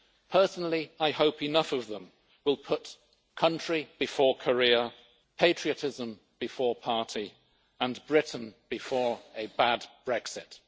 Personally, I hope enough of them will put country before career, patriotism before party and Britain before a bad Brexit.